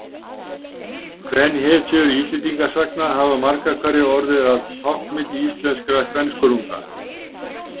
Kvenhetjur Íslendingasagna hafa margar hverjar orðið að táknmynd íslenskra kvenskörunga.